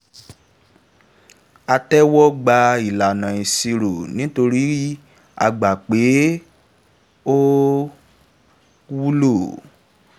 a tẹ́wọ́ gba ìlànà ìṣèṣirò nítorí a gbà pé ó wúlò.